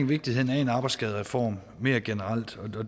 vigtigheden af en arbejdsskadereform mere generelt